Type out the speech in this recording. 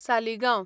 Saligao